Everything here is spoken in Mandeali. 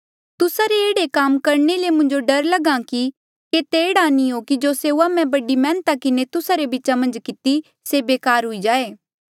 तुस्सा रे एह्ड़े काम करणे ले मुंजो डर लगहा कि केते एह्ड़ा नी हो कि जो सेऊआ मैं बड़ी मैहनता किन्हें तुस्सा रे बीचा मन्झ किती से बेकार हुई जाए